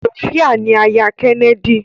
Sofia ni àyà Kennedy.